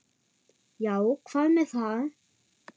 Já, hvað með það?